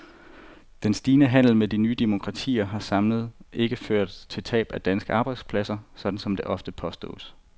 Den stigende handel med de nye demokratier har samlet ikke ført til tab af danske arbejdspladser, sådan som det ofte påstås.